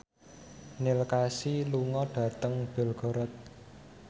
Neil Casey lunga dhateng Belgorod